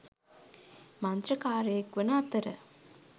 මන්ත්‍රකාරයෙක් වන අතර